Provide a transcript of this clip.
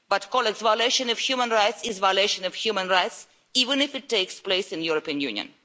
But colleagues, violation of human rights is violation of human rights, even if it takes place in the European Union.